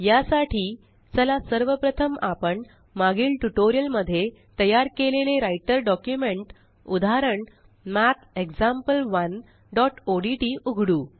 या साठी चला सर्व प्रथम आपण मागील ट्यूटोरियल मध्ये तयार केलेले राइटर डॉक्युमेंट उदाहरण mathexample1ओडीटी उघडू